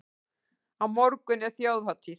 Á morgun er þjóðhátíð.